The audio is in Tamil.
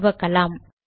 துவக்கலாம்